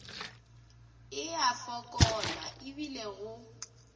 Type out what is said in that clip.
e a fokola ebile go